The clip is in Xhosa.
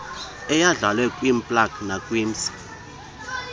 eyandlalwe kwiwplg nakwimsa